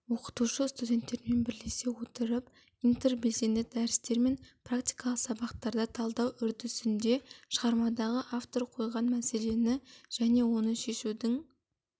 оқытушы студенттермен бірлесе отырып интербелсенді дәрістер мен практикалық сабақтарда талдау үрдісінде шығармадағы автор қойған мәселені және оны шешудің